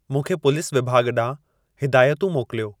मूंखे पुलिस विभाॻ ॾांहुं हिदायतूं मोकिलियो